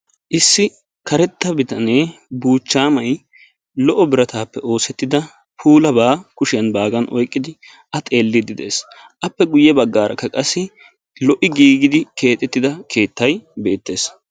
Issi karetta bitanee buuchchaamay lo'o birattaappe oosettida puulaba kushshiyan baaggan oyqidi A xeelidi de'ees. Appe guye baggaaraka qassi lo'i giigidi keexxetida keettay beettees.